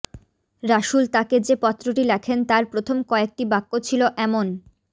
রাসূল তাকে যে পত্রটি লেখেন তার প্রথম কয়েকটি বাক্য ছিলো এমনঃ